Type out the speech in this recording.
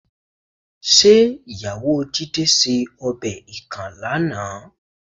̀Ṣé ìyàwó Jídé ṣe ọbẹ̀ ikàn lánàá?